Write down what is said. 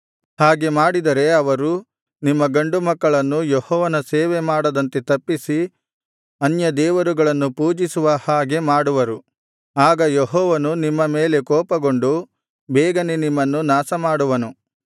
ಹಾಗೆ ಮಾಡಿದರೆ ಅವರು ನಿಮ್ಮ ಗಂಡು ಮಕ್ಕಳನ್ನು ಯೆಹೋವನ ಸೇವೆ ಮಾಡದಂತೆ ತಪ್ಪಿಸಿ ಅನ್ಯ ದೇವರುಗಳನ್ನು ಪೂಜಿಸುವ ಹಾಗೆ ಮಾಡುವರು ಆಗ ಯೆಹೋವನು ನಿಮ್ಮ ಮೇಲೆ ಕೋಪಗೊಂಡು ಬೇಗನೆ ನಿಮ್ಮನ್ನು ನಾಶಮಾಡುವನು